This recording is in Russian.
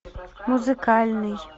музыкальный